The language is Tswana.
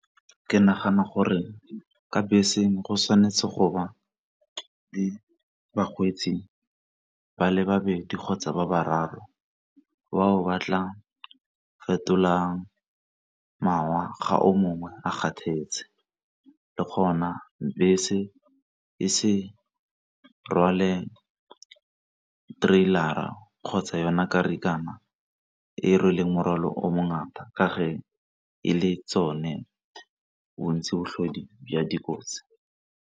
Ke nagana gore ka beseng go tshwanetse go ba le bakgweetsi ba le babedi kgotsa ba bararo batla fetolang ga o mongwe a kgathetse. Le gona bese e se rwale trailor-ra kgotsa yona karikakana e rweleng morwalo o mo ngata ka fa e le tsone bontsi botlhodi bja dikotsi.